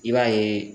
I b'a ye